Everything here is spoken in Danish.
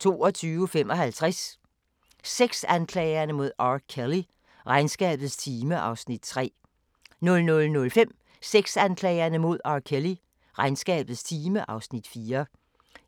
21:00: The Circle 22:55: Sexanklagerne mod R. Kelly: Regnskabets time (Afs. 3) 00:05: Sexanklagerne mod R. Kelly: Regnskabets time (Afs. 4)